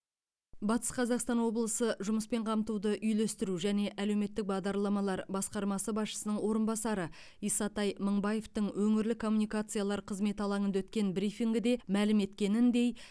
батыс қазақстан облысы жұмыспен қамтуды үйлестіру және әлеуметтік бағдарламалар басқармасы басшысының орынбасары исатай мыңбаевтың өңірлік коммуникациялар қызметі алаңында өткен брифингіде мәлім еткеніндей